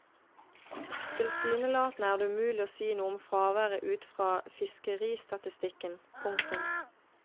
Tilsynelatende er det umulig å si noe om fraværet ut fra fiskeristatistikken. punktum